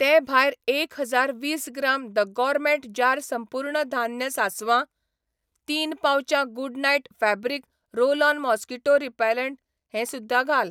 ते भायर एक हजार वीस ग्राम द गॉरमेट जार संपूर्ण धान्य सासवां, तीन पाउचां Good Knight fabric roll on mosquito repellent हें सुध्दां घाल.